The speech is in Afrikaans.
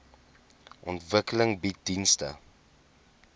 ontwikkeling bied dienste